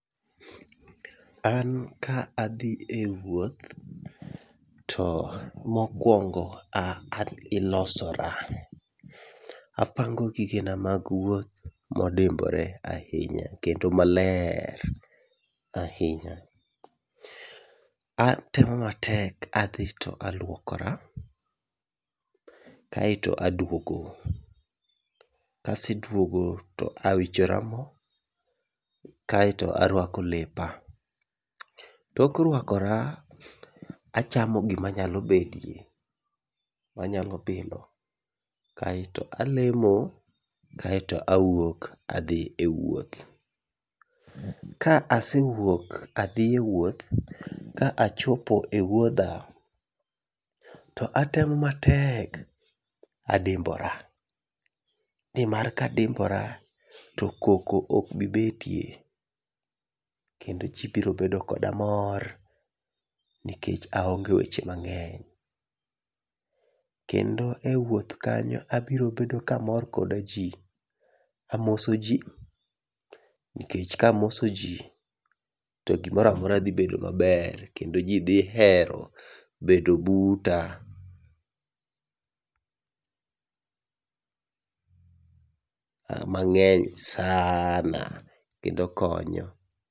An ka adhi e wuoth to mokwongo a an ilosora, apango gigena mag wuoth modimbore ahinya kendo maler ahinya. Atemo matek adhi to alwokora, kaeto aduogo. Kaseduogo to awichora mo kaeto arwako lepa. Tok rwakora, achamo gima nyalo bedie manyalo bilo, kaeto alemo, kaeto awuok adhi e wuoth. Ka asewuok adhiye wuoth, ka achopo e wuodha to atemo matek adimbora. Nimar kadimbora to koko ok bi betie kendo ji biro bedo koda mor nikech aonge weche mang'eny. Kendo e wuoth kanyo abiro bedo kamor koda ji, amoso ji nikech kamoso ji to gimoramora dhi bedo maber kendo ji dhi hero bedo buta. Mang'eny sana kendo konyo.